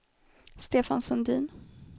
Stefan Sundin